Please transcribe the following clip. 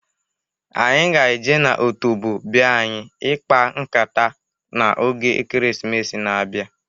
Anyị ga-e je na otobo be anyị ịkpa nkata n'oge Ekeresimesi na-abịa.